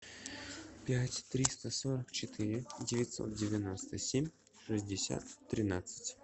пять триста сорок четыре девятьсот девяносто семь шестьдесят тринадцать